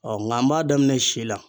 nka n b'a daminɛn si la.